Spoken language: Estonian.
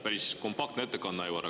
Päris kompaktne ettekanne, Aivar.